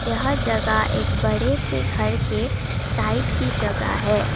यह जगह एक बड़े से घर के साइट की जगह है।